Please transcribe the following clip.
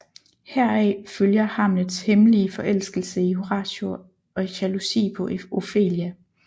Heraf følger Hamlets hemmelige forelskelse i Horatio og jalousi på Ofelia